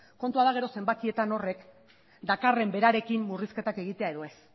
kontua da gero zenbakietan horrek dakarren berarekin murrizketak egitea edo ez